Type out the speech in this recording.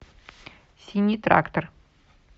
синий трактор